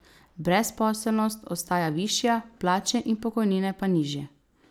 Brezposelnost ostaja višja, plače in pokojnine pa nižje.